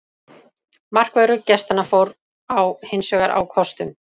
Markvörður gestanna fór á hinsvegar á kostum.